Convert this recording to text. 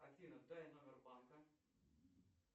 афина дай номер банка